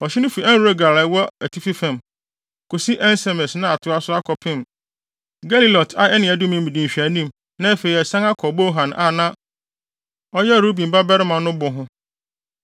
Ɔhye no fi En-Rogel a ɛkɔ atifi fam, kosi En-Semes na atoa so akɔpem Gelilot a ɛne Adumim di nhwɛanim na afei asian akɔ Bohan a na ɔyɛ Ruben babarima no bo ho.